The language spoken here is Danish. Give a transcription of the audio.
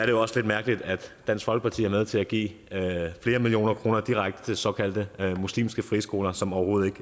jo også lidt mærkeligt at dansk folkeparti er med til at give flere millioner kroner direkte til såkaldte muslimske friskoler som overhovedet